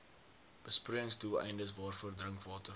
besproeiingsdoeleindes waarvoor drinkwater